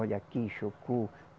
Olha aqui, chocou.